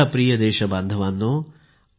माझ्या प्रिय देशबांधवांनो